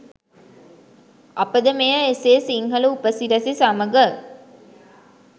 අපද මෙය එසේ සිංහල උපසිරැසි සමග